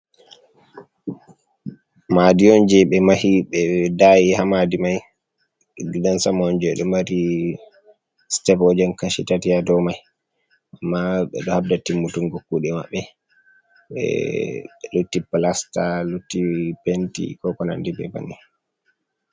madiyonji be mahi be dayi hamadi mai gdasamn je do mari stevojenchitatiya do mai amma be do habda timmutungo kude mabbe be lutti plasta lutti penti kokonandi be vanni